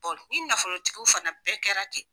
ni nafolo tigiw fana bɛɛ kɛla ten.